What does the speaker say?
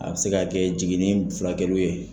A bɛ se ka kɛ jiginni ni furakɛliw ye.